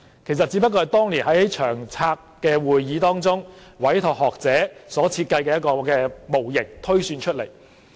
其實這個指標是由當年長遠房屋策略督導委員會委託學者設計的一個模型推算出來。